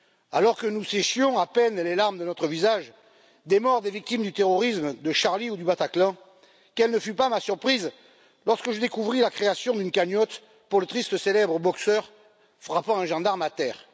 Alors que, sur nos visages, nous séchions à peine les larmes versées pour les morts des victimes du terrorisme, de Charlie Hebdo ou du Bataclan, quelle ne fut pas ma surprise lorsque je découvris la création d'une cagnotte pour le tristement célèbre boxeur frappant un gendarme à terre.